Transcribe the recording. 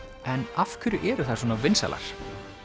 en af hverju eru þær svona vinsælar